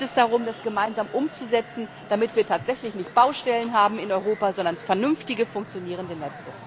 Und jetzt geht es darum, das gemeinsam umzusetzen, damit wir tatsächlich nicht Baustellen in Europa haben, sondern vernünftige funktionierende Netze!